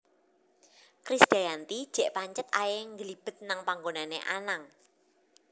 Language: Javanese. Krisdayanti jek pancet ae ngglibet nang panggonane Anang